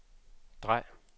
drej